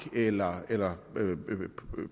eller eller